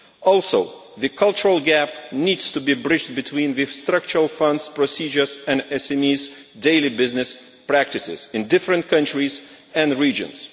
Also, the cultural gap needs to be bridged between the Structural Fund procedures and SMEs' daily business practices in different countries and the regions.